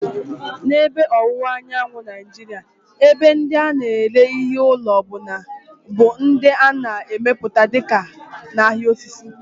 N'ebe Ọwụwa Anyanwụ Nigeria, ebe ndị a na-ere ihe ụlọ bụ ndị a na-emepụta dịka "ahịa osisi."